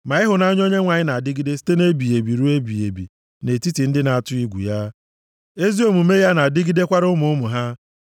Ma ịhụnanya Onyenwe anyị na-adịgide site nʼebighị ebi ruo ebighị ebi nʼetiti ndị na-atụ egwu ya. Ezi omume ya na-adịgidekwara ụmụ ụmụ ha,